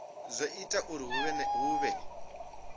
zwo ita uri hu vhe